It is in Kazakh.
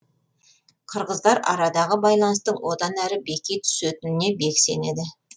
қырғыздар арадағы байланыстың одан әрі беки түсетініне бек сенеді